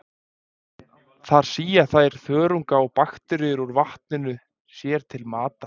Þar sía þær þörunga og bakteríur úr vatninu sér til matar.